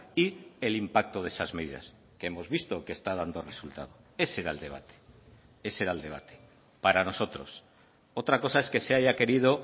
y el impacto de esas medidas que hemos visto que está dando resultado ese era el debate ese era el debate para nosotros otra cosa es que se haya querido